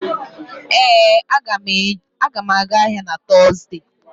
Ee, m ga-aga ahịa na Tọzdee